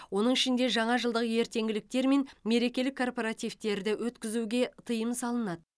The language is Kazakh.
оның ішінде жаңа жылдық ертеңгіліктер мен мерекелік корпоративтерді өткізуге тыйым салынады